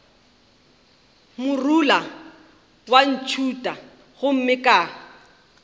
morula wa ntšhutha gomme ka